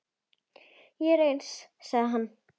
Ég er eins, sagði hann.